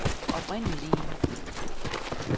oprindelig